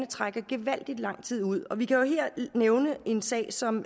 trækker gevaldig lang tid ud vi kan her nævne en sag som